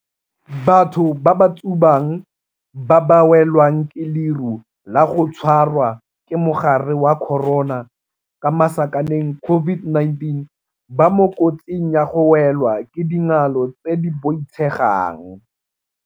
Batho ba ba tsubang ba ba welwang ke leru la go tshwarwa ke mogare wa corona, COVID-19, ba mo kotsing ya go welwa ke dingalo tse di boitshegang.